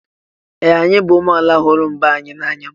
Ee! Anyị bụ ụmụ amaala hụrụ mba anyị n'anya.